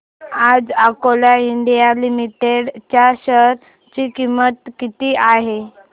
आज coal India limited च्या share ची किंमत किती आहे